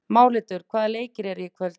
Málhildur, hvaða leikir eru í kvöld?